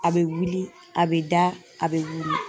A bɛ wili, a bɛ da, a bɛ wili .